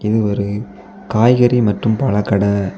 இது ஒரு காய்கறி மற்றும் பழக்கடை.